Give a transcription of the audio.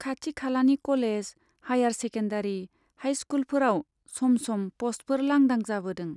खाथि खालानि college, higher secondary, हाइस्कुलफोराव सम सम प'स्टफोर लांदां जाबोदों।